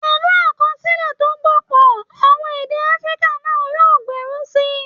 Pẹ̀lú àkọsílẹ̀ tó gbópọn, àwọn èdè Africa náà yóò gbèrú sí i